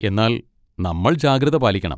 എന്നാൽ നമ്മൾ ജാഗ്രത പാലിക്കണം.